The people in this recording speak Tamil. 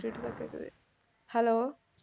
hello